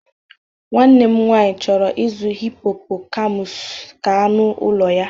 Nwanne m nwanyị chọrọ ịzụ hippocampus ka anụ ụlọ ya.